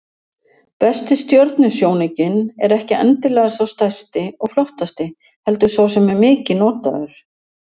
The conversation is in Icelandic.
Besti stjörnusjónaukinn er ekki endilega sá stærsti og flottasti, heldur sá sem er mikið notaður.